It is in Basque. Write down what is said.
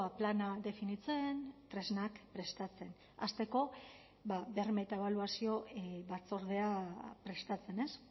plana definitzen tresnak prestatzen hasteko berme eta ebaluazio batzordea prestatzen ez